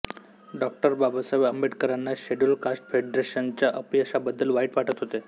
डॉ बाबासाहेब आंबेडकरांना scheduled castes फेडरेशनच्या अपयशाबद्दल वाईट वाटत होते